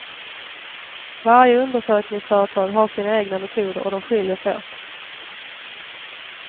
Varje undersökningsföretag har sina egna metoder och de skiljer sig åt.